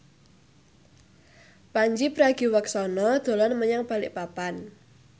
Pandji Pragiwaksono dolan menyang Balikpapan